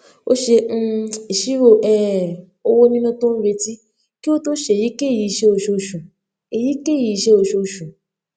ó ṣe um ìṣirò um owó níná tó n retí kí ó tó ṣe èyíkéyìí iṣẹ oṣooṣù èyíkéyìí iṣẹ oṣooṣù